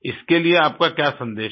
इसके लिए आपका क्या सन्देश है